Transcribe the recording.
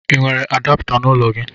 l nwere adapta na ụlọ gi?